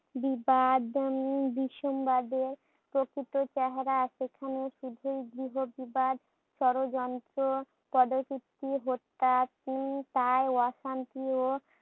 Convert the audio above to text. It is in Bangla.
বিবাদনি ভীষণ ভাবে প্রকৃত চেহারা সেখানে শুধুই গৃহ বিবাধ ষড়যন্ত্র কদোকীর্তি হত্যা উম কাল অশান্তি ও